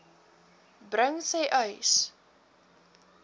bring sê uys